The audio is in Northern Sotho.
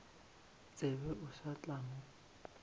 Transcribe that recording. tsebe o sa tla mo